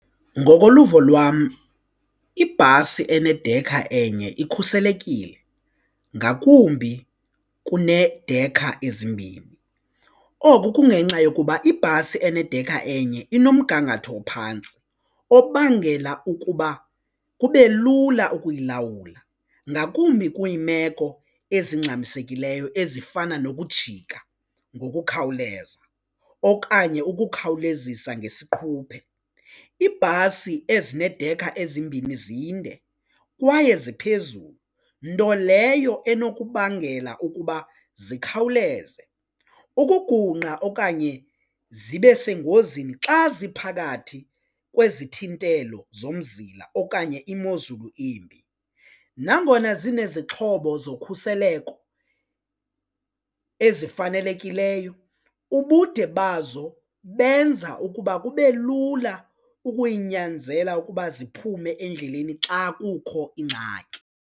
Ngokoluvo lwam ibhasi enedekha enye ikhuselekile ngakumbi kunedekha ezimbini oku kungenxa yokuba ibhasi enedekha enye inomgangatho ophantsi obangela ukuba kube lula ukuyilawula ngakumbi kwiimeko ezingxamisekileyo ezifana nokujika ngokukhawuleza okanye ukukhawulezisa ngesiquphe. Iibhasi ezinedekha ezimbini zinde kwaye ziphezulu nto leyo enokubangela ukuba zikhawuleze ukugungqa okanye zibe sengozini xa ziphakathi kwezithintelo zomzila okanye imozulu embi. Nangona zinezixhobo zokhuseleko ezifanelekileyo ubude bazo benza ukuba kube lula ukuyinyanzela ukuba ziphume endleleni xa kukho ingxaki.